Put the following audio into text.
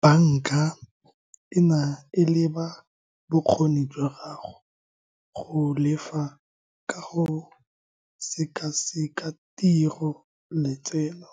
Banka e na e leba bokgoni jwa gago go lefa ka go sekaseka tiro, letseno,